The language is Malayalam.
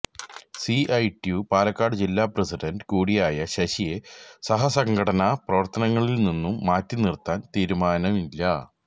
സിഐടിയു പാലക്കാട് ജില്ലാ പ്രസിഡന്റ് കൂടിയായ ശശിയെ സഹസംഘടനാ പ്രവര്ത്തനങ്ങളില്നിന്നു മാറ്റിനിര്ത്താനും തീരുമാനമില്ല